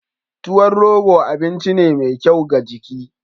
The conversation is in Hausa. Tuwon rogo abinci ne mai kyau ga jiki.